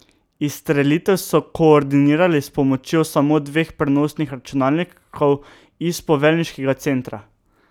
Izstrelitev so koordinirali s pomočjo samo dveh prenosnih računalnikov iz poveljniškega centra.